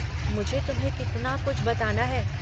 मुझे तुम्हें कितना कुछ बताना है।